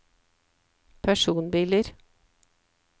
personbiler